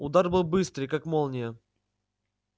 удар был быстрый как молния